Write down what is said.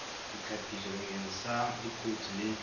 ditlhapiso bakeng sa dikotsi le